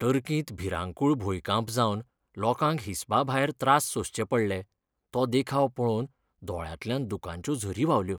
टर्किंत भिरांकूळ भुंयकांप जावन लोकांक हिसबा भायर त्रास सोंसचे पडले तो देखाव पळोवन दोळ्यांतल्यान दुकांच्यो झरी व्हांवल्यो.